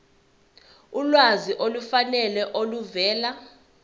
ulwazi olufanele oluvela